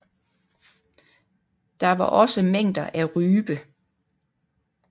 Der var også mængder af rype